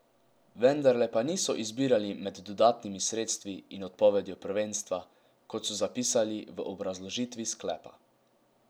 Vendarle pa niso izbirali med dodatnimi sredstvi in odpovedjo prvenstva, kot so zapisali v obrazložitvi sklepa.